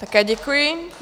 Také děkuji.